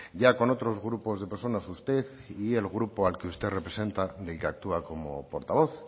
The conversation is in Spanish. ya con otros grupos de personas usted y el grupo al que usted representa del que actúa como portavoz